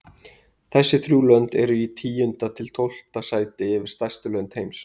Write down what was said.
Þessi þrjú lönd eru í tíunda til tólfta sæti yfir stærstu lönd heims.